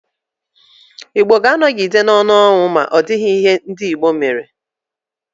Igbo ga-anogide n'onu ọnwụ ma ọdighi ihe ndi Igbo mere.